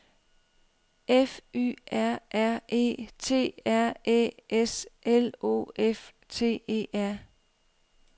F Y R R E T R Æ S L O F T E R